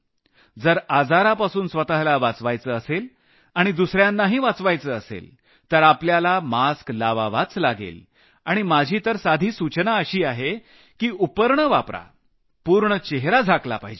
जर आजारापासून स्वतःला वाचवायचं असेल आणि दुसऱ्यांनाही वाचवायचं असेल तर आपल्याला मास्क लावावाच लागेल आणि माझी तर साधी सूचना अशी आहे की उपरणं वापरा पूर्ण चेहरा झाकला पाहिजे